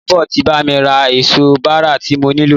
Ìyábọ̀ ti bá mi ra èso bàrà tí mo nílò.